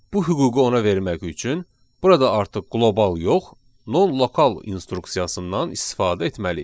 Bu hüququ ona vermək üçün burada artıq qlobal yox, nonlokal instruksiyasından istifadə etməliyik.